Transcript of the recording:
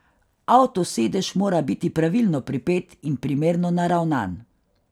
Avtosedež mora biti pravilno pripet in primerno naravnan.